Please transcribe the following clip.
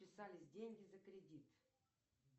списались деньги за кредит